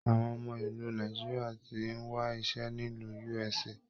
Àwọn ọmọ ìlú Nàìjíríà tí n wà iṣẹ nílu USA